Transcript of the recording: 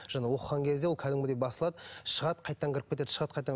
жаңа оқыған кезде ол кәдімгідей басылады шығады қайтадан кіріп кетеді шығады қайтадан